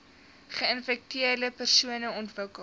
geinfekteerde persone ontwikkel